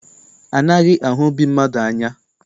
Anaghị ahụ obi mmadụ anya.